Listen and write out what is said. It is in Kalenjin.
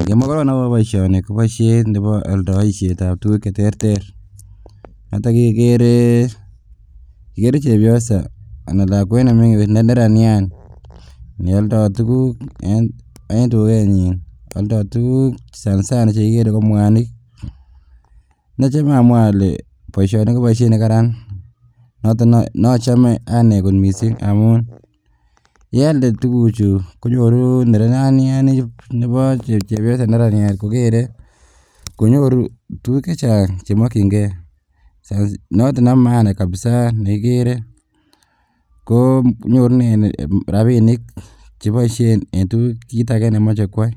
Ingemwaa korong akobo boisioni, koboishet nebo oldoishetab tuguk cheterter noton kekere chepyoso anan lakwet nemingin neneranian neoldo tuguk en tugenyin, oldo tuguk sana sana chekikere komwanik, nochome amwa ole boisioni koboishet nekaran noton nochome ane kot misink amun yealde tuguchu konyoru neraniani nebo chepyoso neraniat kokere konyoru tuguk chechang chemokchingee noton bo maana kabisa nekikere konyoru ine rabinik cheboisien en tuguk kit ake nemoche kwai ,